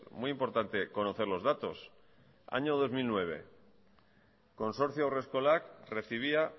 muy importante conocer los datos año dos mil nueve consorcio haurreskolak recibía